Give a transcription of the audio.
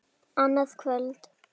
Annað kvöld!